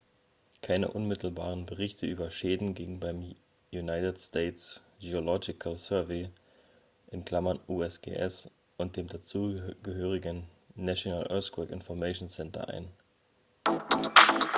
keine unmittelbaren berichte über schäden gingen beim united states geological survey usgs und dem dazugehörigen national earthquake information center ein